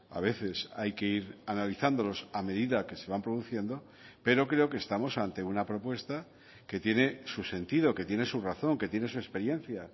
a veces hay que ir analizándolos a medida que se van produciendo pero creo que estamos ante una propuesta que tiene su sentido que tiene su razón que tiene su experiencia